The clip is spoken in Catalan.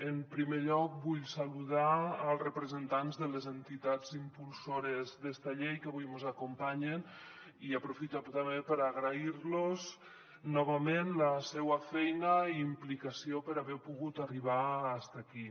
en primer lloc vull saludar els representants de les entitats impulsores d’esta llei que avui mos acompanyen i aprofitar també per agrair los novament la seua feina i implicació per haver pogut arribar fins aquí